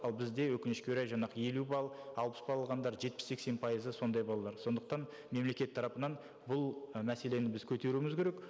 ал бізде өкінішке орай жаңағы елу балл алпыс балл алғандар жетпіс сексен пайызы сондай балалар сондықтан мемлекет тарапынан бұл і мәселені біз көтеруіміз керек